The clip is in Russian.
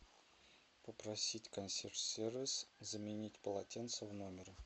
попросить консьерж сервис заменить полотенце в номере